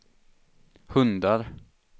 hundar